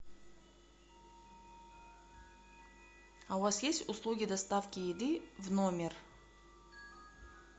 а у вас есть услуги доставки еды в номер